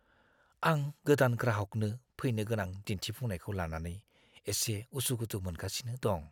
आं गोदान ग्राहकनो फैनोगोनां दिन्थिफुंनायखौ लानानै एसे उसुखुथु मोनगासिनो दं।